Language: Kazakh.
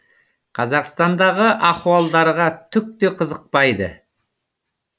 қазақстандағы ахуалдарға түк те қызықпайды